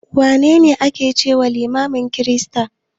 Wane ne a ke cewa limamin kirista?